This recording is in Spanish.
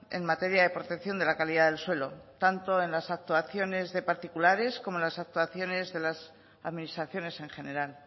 en materia de protección de la calidad del suelo tanto en las actuaciones de particulares como en las actuaciones de las administraciones en general